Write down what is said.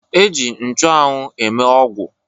E ji nchụanwụ eme ọgwụ